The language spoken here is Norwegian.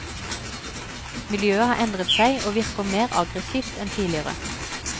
Miljøet har endret seg og virker mer aggressivt enn tidligere.